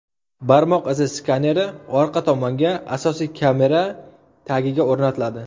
Barmoq izi skaneri orqa tomonga, asosiy kamera tagiga o‘rnatiladi.